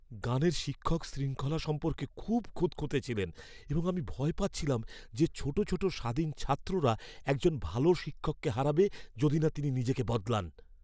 গানের শিক্ষক শৃঙ্খলা সম্পর্কে খুব খুঁতখুঁতে ছিলেন এবং আমি ভয় পাচ্ছিলাম যে ছোটো ছোটো স্বাধীন ছাত্ররা একজন ভাল শিক্ষককে হারাবে যদি না তিনি নিজেকে বদলান।